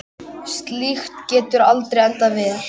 Slíkt getur aldrei endað vel.